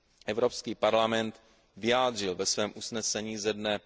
Evropský parlament vyjádřil ve svém usnesení ze dne